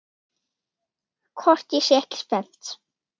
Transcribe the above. Hvort ég sé ekki spennt?